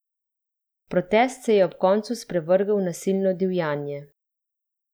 Protest se je ob koncu sprevrgel v nasilno divjanje.